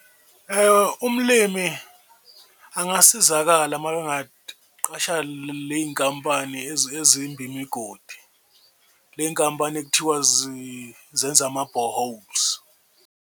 Umlimi angasizakala mayengaqasha ley'nkampani ezimba imigodi, ley'nkampani ekuthiwa zenza ama-boreholes.